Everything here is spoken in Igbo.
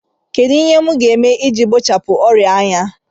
Kedụ ihe m ga-eme iji gbochie ọrịa anya?